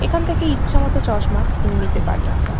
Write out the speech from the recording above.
এখান থেকে ইচ্ছে মতো চশমা কিনে নিতে পারি আমরা।